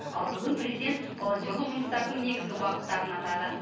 ал бүгін президент волонтерлік жұмыстардың негізгі бағыттарын атады